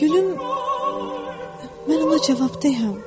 Gülüm, mən ona cavabdehəm.